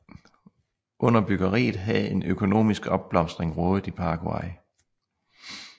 Under byggeriet havde en økonomisk opblomstring rådet i Paraguay